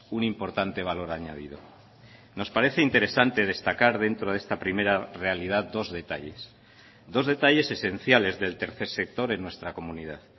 un importante valor añadido nos parece interesante destacar dentro de esta primera realidad dos detalles dos detalles esenciales del tercer sector en nuestra comunidad